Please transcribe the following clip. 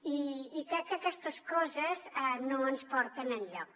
i crec que aquestes coses no ens porten enlloc